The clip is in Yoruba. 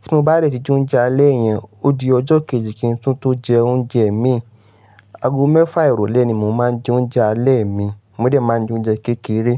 Tí mo bá dẹ̀ ti jẹ oúnjẹ alẹ́ yẹn, ó di ọjọ́ kejì kí n tún tó jẹ oúnjẹ mi. Ago mẹ́fa ìrọlé ni mo máa ń jẹ oúnjẹ alẹ́ mi, mo dẹ̀ máa ń jẹ oúnjẹ kékeré.